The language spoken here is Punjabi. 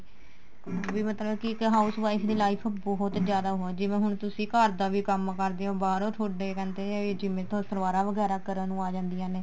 ਬੀ ਮਤਲਬ ਕੀ ਇੱਕ house wife ਦੀ life ਬਹੁਤ ਜਿਆਦਾ ਉਹ ਹੈ ਜਿਵੇਂ ਹੁਣ ਤੁਸੀਂ ਘਰ ਦਾ ਵੀ ਕੰਮ ਕਰਦੇ ਓ ਬਾਹਰੋ ਤੁਹਾਡੇ ਕਹਿੰਦੇ ਏ ਵੀ ਜਿਵੇਂ ਸਲਵਾਰਾ ਵਗੈਰਾ ਕਰਨ ਨੂੰ ਆ ਜਾਂਦੀਆਂ ਨੇ